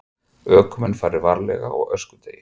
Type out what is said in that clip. Ökumenn fari varlega á öskudegi